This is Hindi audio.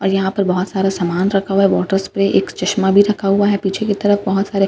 यहां पर बहुत सारा सामान रखा हुआ है वाटर स्प्रे एक चश्मा भी रखा हुआ है पीछे की तरफ बहुत सारे --